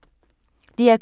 DR K